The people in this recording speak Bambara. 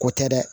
Ko tɛ dɛ